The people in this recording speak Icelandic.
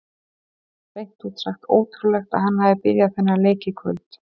Hreint út sagt ótrúlegt að hann hafi byrjað þennan leik í kvöld.